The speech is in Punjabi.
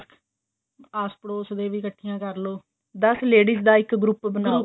ਆਸ ਪੜੋਸ ਦੇ ਵੀ ਇੱਕਠੀਆਂ ਕਰਲੋ ਦਸ ladies ਦਾ ਇੱਕ group ਬਣਾਲੋ